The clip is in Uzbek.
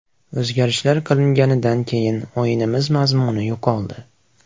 O‘zgarishlar qilinganidan keyin o‘yinimiz mazmuni yo‘qoldi.